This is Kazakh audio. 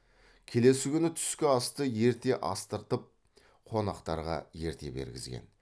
келесі күні түскі асты ерте астырып қонақтарға ерте бергізген